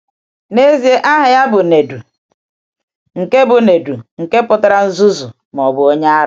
N’ezie, aha ya bụ Nèdù, nke bụ Nèdù, nke pụtara “nzuzu,” ma ọ bụ “onye ara.”